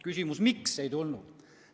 Küsimus: miks ei tulnud?